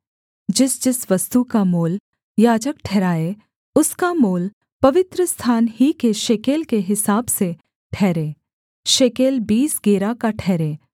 जिसजिस वस्तु का मोल याजक ठहराए उसका मोल पवित्रस्थान ही के शेकेल के हिसाब से ठहरे शेकेल बीस गेरा का ठहरे